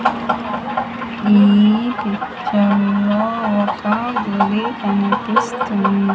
ఈ పిక్చర్ లో ఒక గుడి కనిపిస్తుంది.